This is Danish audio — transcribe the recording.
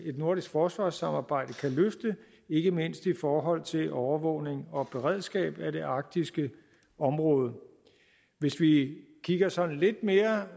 et nordisk forsvarssamarbejde kan løfte ikke mindst i forhold til overvågning og beredskab i det arktiske område hvis vi kigger sådan lidt mere